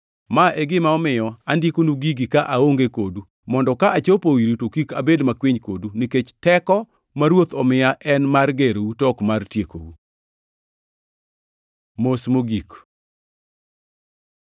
Ma e gima omiyo andikonu gigi ka aonge kodu, mondo ka achopo iru to kik abed makwiny kodu nikech teko ma Ruoth omiya en mar gerou to ok mar tiekou. Mos mogik